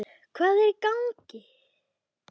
Hvað, hvað er í gangi?